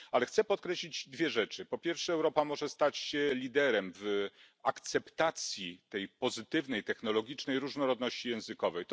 Chcę podkreślić dwie rzeczy, po pierwsze, Europa może stać się liderem w akceptacji tej pozytywnej technologicznej różnorodności językowej.